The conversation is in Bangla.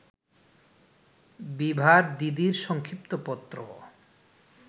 বিভার দিদির সংক্ষিপ্ত পত্র